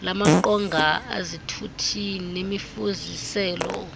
lamaqonga ezithuthi nemifuziselo